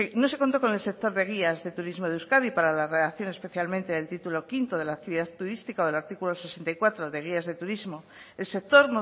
no se contó con el sector de guías de turismo de euskadi para la redacción especialmente del título quinto de la actividad turística del artículo sesenta y cuatro de guías de turismo el sector